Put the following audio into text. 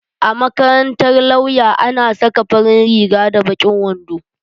A makarantar lauya ana saka farin riga da baƙin wando